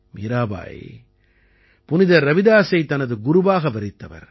மீராபாய் புனிதர் ரவிதாசைத் தனது குருவாக வரித்தவர்